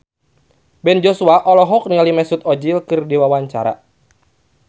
Ben Joshua olohok ningali Mesut Ozil keur diwawancara